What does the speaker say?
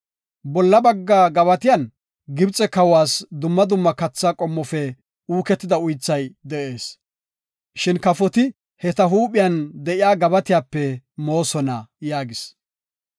bolla bagga gabatiyan Gibxe kawas dumma dumma katha qommofe uuketida uythay de7ees. Shin kafoti he ta huuphen de7iya gabatiyape moosona” yaagis.